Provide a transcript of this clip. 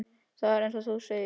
Það er eins og þú segir.